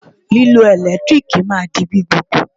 Lílo ẹ̀rọ ìdáná ẹ̀lẹ́tíríìkì máa to di gbgbogbò.